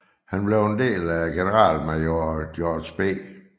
Han blev en del af generalmajor George B